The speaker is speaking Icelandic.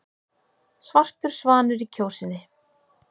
Svartur svanur í Kjósinni